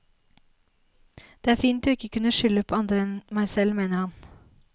Det er fint å ikke kunne skylde på andre enn meg selv, mener han.